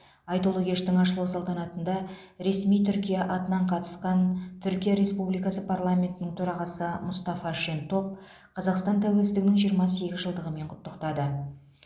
айтулы кештің ашылу салтанатында ресми түркия атынан қатысқан түркия республикасы парламентінің төрағасы мұстафа шентоп қазақстан тәуелсіздігінің жиырма сегіз жылдығымен құттықтады